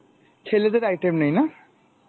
ছেলেদের item নেই, না?